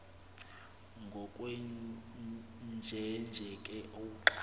ngokwenjenje ke uqa